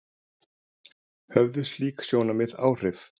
Höfðu slík sjónarmið áhrif?